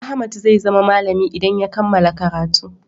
Ahmad zai zama malami idan ya kammala karatu.